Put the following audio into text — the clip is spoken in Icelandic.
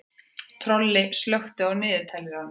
Tolli, slökktu á niðurteljaranum.